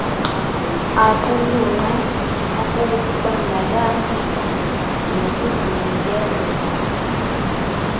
aqulunqe ukubandakanyeka nokuzinikezela